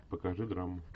покажи драму